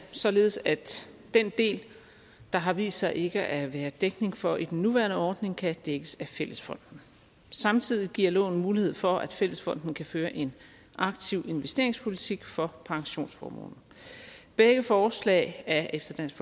således at den del der har vist sig ikke at være dækning for i den nuværende ordning kan dækkes af fællesfonden samtidig giver loven mulighed for at fællesfonden kan føre en aktiv investeringspolitik for pensionsformuen begge forslag er efter dansk